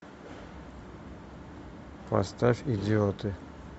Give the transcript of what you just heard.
поставь идиоты